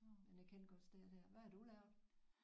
Men jeg kendte godt stedet her. Hvad har du lavet?